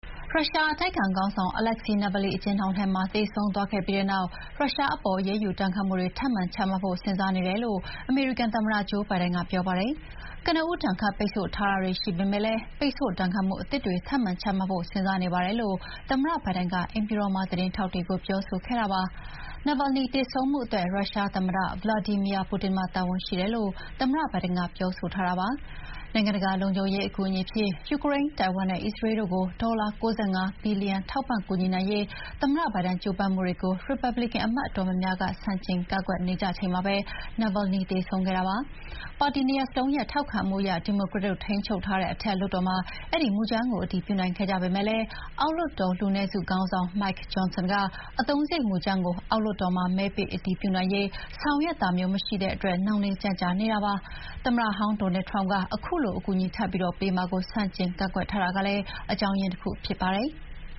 ရုရှားအတိုက်အခံခေါင်းဆောင် Alexey Navalny အကျဥ်းထောင်ထဲမှာ သေဆုံးသွားခဲ့ပြီးတဲ့နောက် ရုရှားအပေါ် အရေးယူဒဏ်ခတ်မှုတွေထပ်မံချမှတ်ဖို့ စဥ်းစားနေတယ်လို့ အမေရိကန်သမ္မတ ဂျိုးဘိုင်ဒန်က တနင်္လာနေ့မှာ ပြောပါတယ်။ ကနဦး ဒဏ်ခတ်ပိတ်ဆို့ထားမှုတွေရှိထားပေမယ့် ပိတ်ဆို့ ဒဏ်ခတ်မှုတွေထပ်မံချမှတ်ဖို့ စဥ်းစားနေပါတယ်လို့ သမ္မတဘိုင်ဒန်က အိမ်ဖြူတော်မှာ သတင်းထောက်တွေကို ပြောခဲ့တာဖြစ်ပါတယ်။ Navalny သေဆုံးမှုအတွက် ရုရှားသမ္မတ ဗလာဒီမီယာပူတင်မှာ တာဝန်ရှိတယ်လို့ သမ္မတဘိုင်ဒန်က ပြောဆိုထားတာပါ။ နိုင်ငံတကာလုံခြုံရေးအကူအညီအဖြစ် ယူကရိန်း၊ တိုင်ဝမ်နဲ့ အစ္စရေးလ်တို့ကို ဒေါ်လာ ၉၅ ဘီလီယံ ထောက်ပံ့ကူညီနိုင်ရေး သမ္မတဘိုင်ဒန် ကြိုးပမ်းမှုတွေကို ရီပတ်ဘလစ်ကန်အမတ်အတော်များများ ဆန့်ကျင်ကန့်ကွက်ထားနေကြချိန်မှာပဲ Navalny သေဆုံးခဲ့ရတာပါ။ ပါတီနှစ်ရပ်စလုံးရဲ့ထောက်ခံမှုအရ ဒီမိုကရက်တို့ ထိန်းချုပ်ထားတဲ့ အထက်လွှတ်တော်မှာ အတည်ပြုနိုင်ခဲ့ကြပေမယ့်လည်း အောက်လွှတ်တော်လူနည်းစုခေါင်းဆောင် Mike Johnson က အသုံးစရိတ်မူကြမ်းကို အောက်လွှတ်တော်မှာ မဲပေးအတည်ပြုနိုင်ရေး ဆောင်ရွက်တာမျိုးမရှိတဲ့အတွက် နှောင့်နှေးကြန့်ကြာနေတာဖြစ်ပါတယ်။ သမ္မတဟောင်း Donald Trump က ခုလို အကူအညီထပ်ပြီးပေးမှာကို ဆန့်ကျင်ကန့်ကွက်ထားတာလည်း အကြောင်းရင်းတခုဖြစ်ပါတယ်။